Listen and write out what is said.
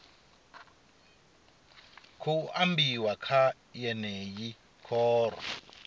khou ambiwa kha yeneyi khoro